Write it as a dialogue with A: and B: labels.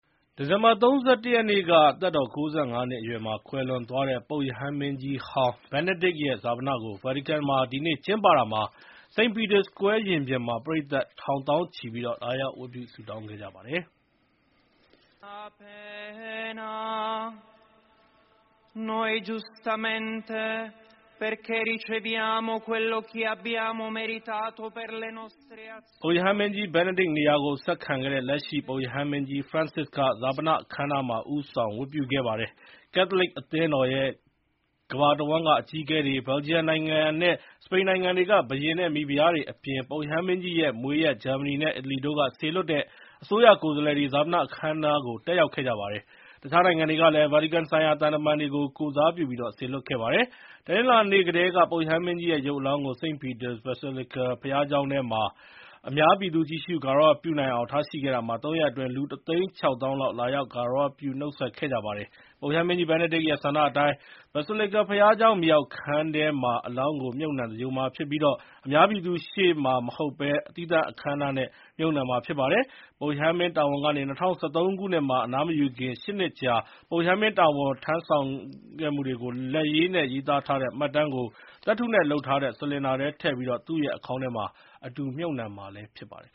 A: ဒီဇင်ဘာ ၃၁ ရက်က သက်တော် ၉၅ နှစ်အရွယ်မှာ ကွယ်လွန်သွားတဲ့ ပုပ်ရဟန်းမင်းကြီးဟောင်း Benedict ရဲ့ ဈာပနကို ဗာတီကန်မှာ ဒီနေ့ ကျင်းပတာမှာ St. Peter's Square ရင်ပြင်မှာ ပရိတ်သတ် ထောင် သောင်းချီ လာရောက် ဝတ်ပြုဆုတောင်းခဲ့ကြပါတယ်။
B: ပုပ်ရဟန်းမင
A: ်းကြီး Benedict နေရာကို ဆက်ခံခဲ့တဲ့ လက်ရှိပုပ်ရဟန်းမင်းကြီး Francis က ဈာပနအခမ်းအနားမှာ ဦးဆောင်ဝတ်ပြုခဲ့ပါတယ်။ Catholic အသင်းတော်ရဲ့ကမ္ဘာတဝန်းက အကြီးအကဲတွေ၊ ဘယ်လ်ဂျီယံနိုင်ငံနဲ့ စပိန်နိုင်ငံတွေက ဘုရင်နဲ့မိဖုရားတွေအပြင် ပုပ်ရဟန်းမင်းကြီးရဲ့မွေးရပ် ဂျာမနီနဲ့အီတလီတို့ကစေလွှတ်တဲ့ အစိုးရကိုယ်စားလှယ်တွေ ဈာပနအခမ်းအနား တက်ရောက်ကြပါတယ်။ တခြားနိုင်ငံတွေကလည်း ဗာတီကန်ဆိုင်ရာ သံတမန်တွေကို ကိုယ်စားပြု စေလွှတ်ခဲ့ကြပါတယ်။ တနင်္လာနေ့ကတည်းက ပုပ်ရဟန်းမင်းကြီးရဲ့ရုပ်အလောင်းကို St. Peter’s Basilica ဘုရားကျောင်းထဲမှာ အများပြည်သူ ကြည့်ရှုဂါရဝပြုနိုင်အောင်ထားရှိခဲ့တာမှာ သုံးရက်အတွင်း လူ တသိန်းခြောက်သောင်းလောက် လာရောက် ဂါရဝပြု နှုတ်ဆက်ကြပါတယ်။ ပုပ်ရဟန်းမင်းကြီး Benedict ရဲ့ဆန္ဒအတိုင်း Basilica ဘုရားကျောင်း မြေအောက်ခန်းထဲမှာ အလောင်းကို မြှုပ်နှံသင်္ဂြိုဟ်မှာဖြစ်ပြီး အများပြည်သူရှေ့မဟုတ်ဘဲ သီးသန့်အခမ်းအနားနဲ့ မြှုပ်နှံမှာ ဖြစ်ပါတယ်။ ပုပ်ရဟန်းမင်းတာဝန်ကနေ ၂၀၁၃ ခုနှစ်မှာ အနားမယူခင် ၈ နှစ်ကြာ ပုပ်ရဟန်းမင်းတာဝန်ထမ်းဆောင်ခဲ့သမျှကို လက်ရေးနဲ့ရေးသားထားတဲ့မှတ်တမ်းကို သတ္တုနဲ့လုပ်ထားတဲ့ စလင်ဒါထဲထည့်ပြီး သူ့ရဲအခေါင်းထဲမှာ အတူမြှုပ်နှံမှာဖြစ်ပါတယ်